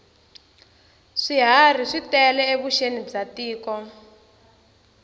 swiharhi swi tale evuxeni bya tiko